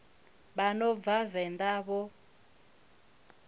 vha no bva venḓa vho